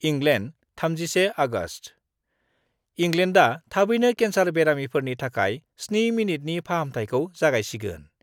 इंलेन्ड,31आगस्ट: इंलेन्डआ थाबैनो केन्सार बेमारिफोरनि थाखाय 7 मिनिटनि फाहामथायखौ जागायसिगोन।